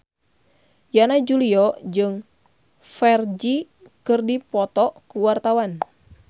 Yana Julio jeung Ferdge keur dipoto ku wartawan